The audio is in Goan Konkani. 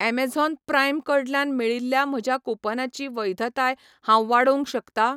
ऍमेझॉन प्राइम कडल्यान मेळिल्ल्या म्हज्या कूपनाची वैधताय हांव वाडोवंक शकता ?